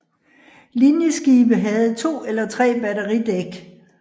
Linjeskibe havde to eller tre batteridæk